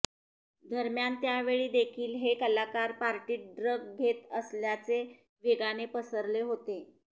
दरम्यान त्यावेळी देखील हे कलाकार पार्टीत ड्रग घेत असल्याचे वेगाने पसरले होते